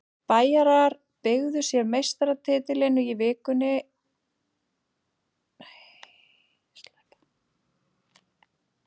Bæjarar tryggðu sér meistaratitilinn í vikunni og hafa verið algjörlega óstöðvandi á tímabilinu.